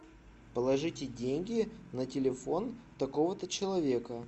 положите деньги на телефон такого то человека